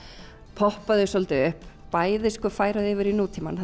poppa þau svolítið upp færa þau yfir í nútímann